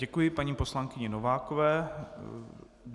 Děkuji paní poslankyni Novákové.